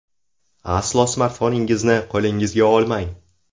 Aslo smartfoningizni qo‘lingizga olmang.